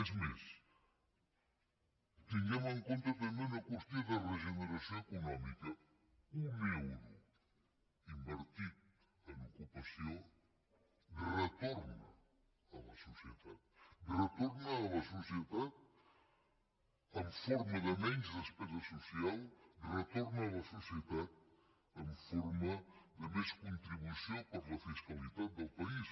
és més tinguem en compte també una qüestió de regeneració econòmica un euro invertit en ocupació retorna a la societat retorna a la societat en forma de menys despesa social retorna a la societat en forma de més contribució per a la fiscalitat del país